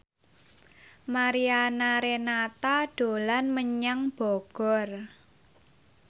Mariana Renata dolan menyang Bogor